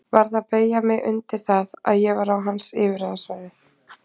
Varð að beygja mig undir það að ég var á hans yfirráðasvæði.